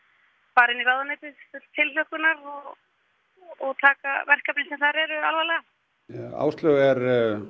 fara inn í ráðuneytið full tilhlökkunar og taka verkefnin sem þar eru alvarlega Áslaug er